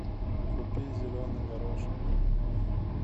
купи зеленый горошек